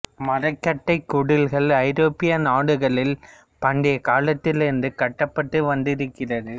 மரக்கட்டைக்குடில்கள் ஐரோப்பிய நாடுகளில் பண்டைக் காலத்தில் இருந்து கட்டப்பட்டு வந்திருக்கிறது